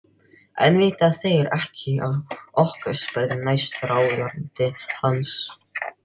En vita þeir ekki af okkur? spurði næstráðandi hans.